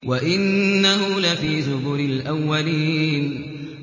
وَإِنَّهُ لَفِي زُبُرِ الْأَوَّلِينَ